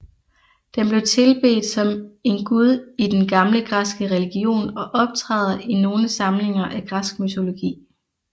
Den blev tilbedt som en gud i den gamle græske religion og optræder i nogle samlinger af græsk mytologi